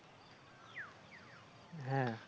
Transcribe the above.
হ্যাঁ।